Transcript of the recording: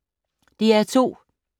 DR2